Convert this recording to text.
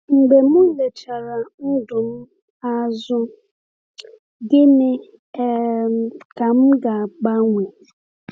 Mgbe m lechara ndụ m azụ, gịnị um ka m ga-agbanwe?